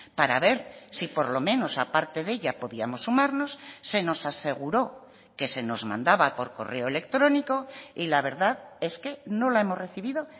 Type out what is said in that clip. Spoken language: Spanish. para ver si por lo menos a parte de ella podíamos sumarnos se nos aseguró que se nos mandaba por correo electrónico y la verdad es que no la hemos recibido